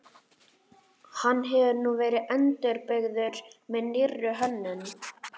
Hann hefur nú verið endurbyggður með nýrri hönnun.